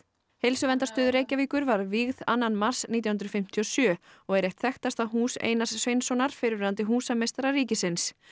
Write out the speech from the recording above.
heilsuverndarstöð Reykjavíkur var vígð annan mars nítján hundruð fimmtíu og sjö og er eitt þekktasta hús Einars Sveinssonar fyrrverandi húsameistara ríkisins